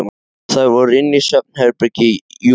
Þær voru inni í svefnherbergi Júlíu.